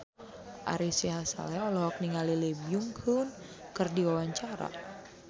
Ari Sihasale olohok ningali Lee Byung Hun keur diwawancara